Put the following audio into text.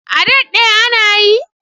A daɗɗe ana yi?